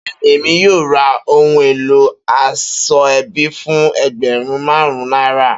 Beeni, Emi yoo ra ohun elo asoebi fun ẹgbẹrun marun naira.